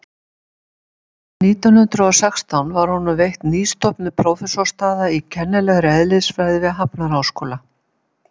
en árið nítján hundrað og sextán var honum veitt nýstofnuð prófessorsstaða í kennilegri eðlisfræði við hafnarháskóla